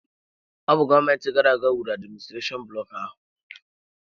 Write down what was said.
Ọ bụ gọọmenti gara aga wuru adiministrashonụ bloku ahụ.